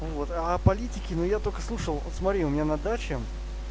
ну вот а политики но я только слушал вот смотри у меня на даче